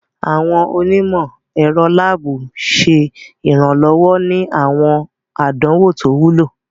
Awọn onimọ-ẹrọ laabu ṣe iranlọwọ ni awọn àdánwò to wúlò.